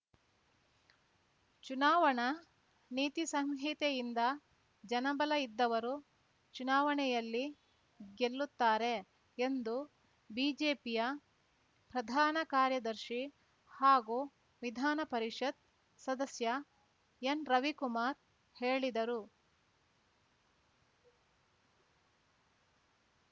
ಚುನಾವಣಾ ನೀತಿ ಸಂಹಿತೆಯಿಂದ ಜನಬಲ ಇದ್ದವರು ಚುನಾವಣೆಯಲ್ಲಿ ಗೆಲ್ಲುತ್ತಾರೆ ಎಂದು ಬಿಜೆಪಿಯ ಪ್ರಧಾನ ಕಾರ್ಯದರ್ಶಿ ಹಾಗೂ ವಿಧಾನಪರಿಷತ್ ಸದಸ್ಯ ಎನ್ ರವಿಕುಮಾರ್ ಹೇಳಿದರು